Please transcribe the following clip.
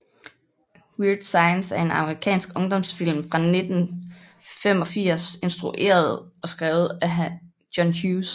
Weird Science er en amerikansk ungdomsfilm fra 1985 instrueret og skrevet af John Hughes